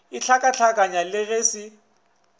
a hlakahlakanya le ge se